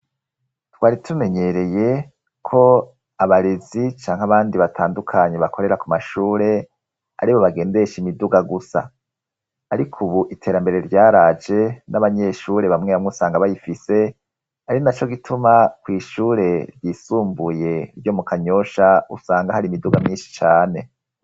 Twari tumenyereye ko abarezi canke abandi batandukanye bakorera ku mashure ari bo bagendesha imiduga gusa, ariko ubu iterambere ryaraje n'abanyeshure bamwe bamwusanga bayifise ari na cyo gituma kw'ishure ryisumbuye ryo mu kanyosha usanga hari imiduga myinshi cane.